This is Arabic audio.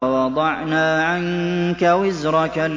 وَوَضَعْنَا عَنكَ وِزْرَكَ